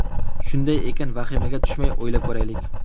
Shunday ekan, vahimaga tushmay o‘ylab ko‘raylik.